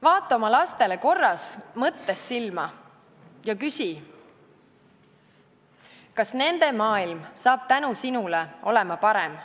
Vaata oma lastele korraks mõttes silma ja küsi, kas nende maailm saab tänu sinule olema parem.